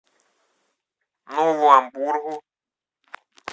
нову амбургу